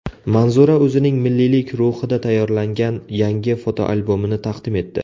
Manzura o‘zining milliylik ruhida tayyorlangan yangi fotoalbomini taqdim etdi .